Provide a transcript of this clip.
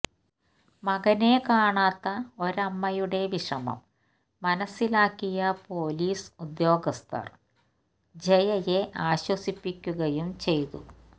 മകനെ കാണാത്ത ഒരമ്മയുടെ വിഷമം മനസ്സിലാക്കിയ പൊലീസ് ഉദ്യോഗസ്ഥർ ജയയെ ആശ്വസിപ്പിക്കുകയും ചെയ്തു